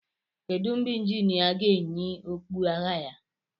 Kedu mgbe injinia ga-eyi okpu agha ya?